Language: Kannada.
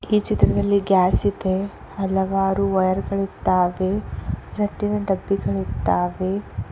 ಈ ಚಿತ್ರದಲ್ಲಿ ಗ್ಯಾಸ್ ಇದೆ ಹಲವಾರು ವಯರ್ ಗಳಿದ್ದಾವೆ ರಟ್ಟಿನ ಡಬ್ಬಿಗಳು ಇದ್ದಾವೆ.